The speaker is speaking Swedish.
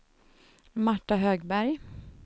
Marta Högberg